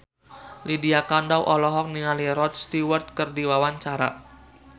Lydia Kandou olohok ningali Rod Stewart keur diwawancara